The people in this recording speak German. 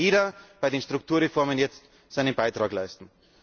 Deswegen muss bei den Strukturreformen jetzt jeder seinen Beitrag leisten.